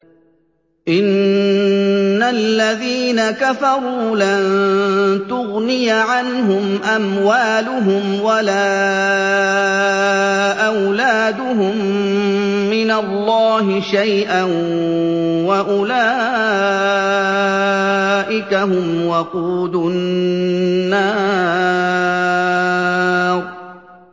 إِنَّ الَّذِينَ كَفَرُوا لَن تُغْنِيَ عَنْهُمْ أَمْوَالُهُمْ وَلَا أَوْلَادُهُم مِّنَ اللَّهِ شَيْئًا ۖ وَأُولَٰئِكَ هُمْ وَقُودُ النَّارِ